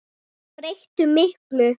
En þeir breyttu miklu.